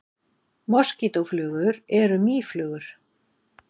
Moskítóflugur eru mýflugur.